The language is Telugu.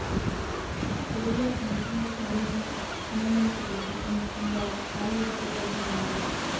తెలుగులో మంచు మనోజ్ నటించిన నేను మీకు తెలుసా అనే చిత్రం ద్వారా టాలీవుడ్కు పరిచయమైంది